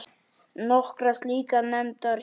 Nokkrar slíkar nefndar hér